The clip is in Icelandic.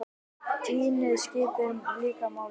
Tíðnin skiptir líka máli.